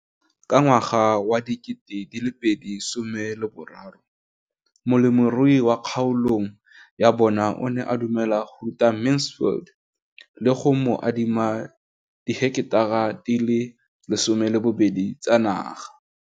Ka ngwaga wa 2013, molemirui mo kgaolong ya bona o ne a dumela go ruta Mansfield le go mo adima di heketara di le 12 tsa naga.